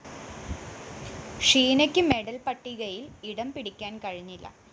ഷീനക്ക് medal പട്ടികയില്‍ ഇടംപിടിക്കാന്‍ കഴിഞ്ഞില്ല